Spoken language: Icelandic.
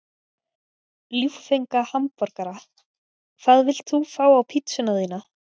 Ljúffenga hamborgara Hvað vilt þú fá á pizzuna þína?